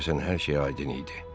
Deyəsən hər şey aydın idi.